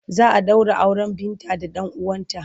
Za a ɗaura auren Binta da ɗan uwanta.